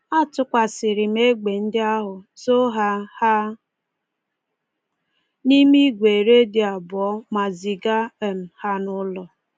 Atụkasịrị m egbe ndị ahụ, zoo ha ha n’ime igwe redio abụọ, ma ziga um ha n'ụlọ.